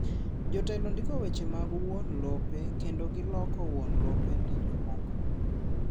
Jotelo ndiko weche mag wuon lope kendo giloko wuon lope ne jomoko.